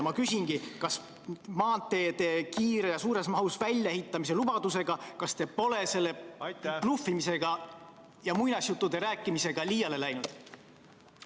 Ma küsingi järgmist: kas te pole maanteede kiire ja suures mahus väljaehitamise lubadusega, sellise bluffimise ja muinasjuttude rääkimisega, liiale läinud?